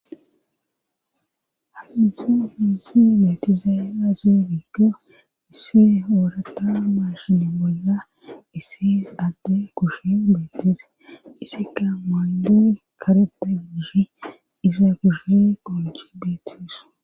Haizu huzi metezeazigigga isse wurata mashinemueza isse ate kushe mbeteze isi ka mandun kareta gise iza gushe go gibetus.